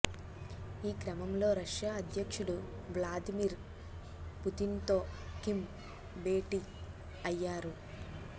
ఈ క్రమంలో రష్యా అధ్యక్షుడు వ్లాదిమిర్ పుతిన్తో కిమ్ భేటీ అయ్యారు